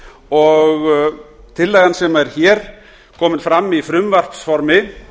og tillagan sem er hér komin fram í frumvarpsformi